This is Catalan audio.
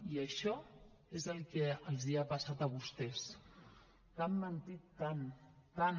i això és el que els ha passat a vostès que han mentit tant tant